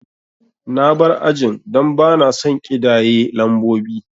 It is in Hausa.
Na bar ajin dan bana son kiɗaye lambobi